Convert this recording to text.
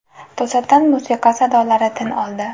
To‘satdan musiqa sadolari tin oldi.